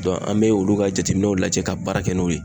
an be olu ka jateminɛw lajɛ ka baara kɛ n'o ye.